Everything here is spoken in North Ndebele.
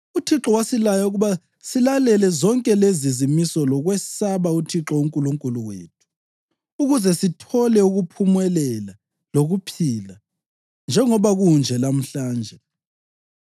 UThixo wasilaya ukuba silalele zonke lezi zimiso lokwesaba uThixo uNkulunkulu wethu, ukuze sithole ukuphumelela lokuphila, njengoba kunje lamhlanje.